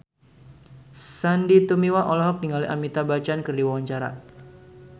Sandy Tumiwa olohok ningali Amitabh Bachchan keur diwawancara